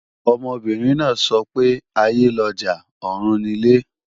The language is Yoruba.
Ọmọbìnrin náà ń sọ pé "aiyé lọjà, ọ̀run nilé"